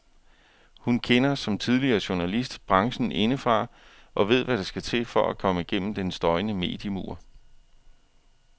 Hun kender, som tidligere journalist, branchen indefra og ved hvad der skal til for at komme gennem den støjende mediemur.